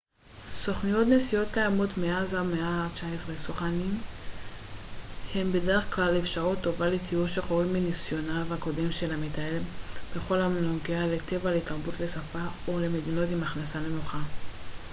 סוכנויות נסיעות קיימות מאז המאה ה-19. סוכני נסיעות הם בדרך כלל אפשרות טובה לטיול שחורג מניסיונו הקודם של המטייל בכל הנוגע לטבע לתרבות, ל שפה או למדינות עם הכנסה נמוכה